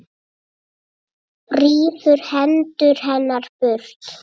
Rífur hendur hennar burt.